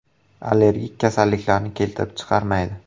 Allergik kasalliklarni keltirib chiqarmaydi.